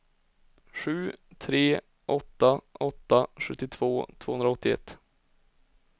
sju tre åtta åtta sjuttiotvå tvåhundraåttioett